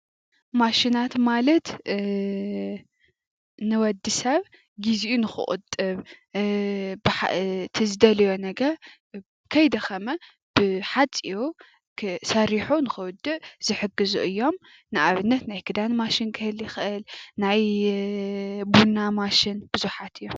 ማሽናት ማለት እ... ንወዲሰብ ጊዚኡ ንኽቁጥብ እ... ትዝደልዮ ነገር ከይደኸመ ብሓፂሩ ሰሪሑ ንኽውድእ ዝሕግዙ እዮም፡፡ ንኣብነት ናይ ክዳን ማሽን ክህሊ ይኽእል፣ ናይ ቡና ማሽን ብዙሓት እዮም፡፡